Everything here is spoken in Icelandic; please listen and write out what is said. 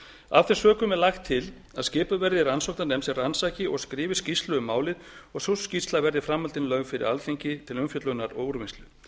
þeim sökum er lagt til að skipuð verði rannsóknarnefnd sem rannsaki og skrifi skýrslu um málið og sú skýrsla verði í framhaldinu lögð fyrir alþingi til umfjöllunar og úrvinnslu